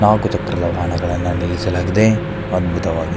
ನಾಲಕ್ಕು ಚಕ್ರದ ವಾಹನಗಳನ್ನು ನಿಲ್ಲಿಸಲಾಗಿದೆ ಅದ್ಭುತವಾಗಿದೆ.